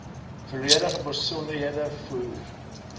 volledige besonderhede voor